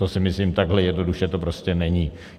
To si myslím, takhle jednoduše to prostě není.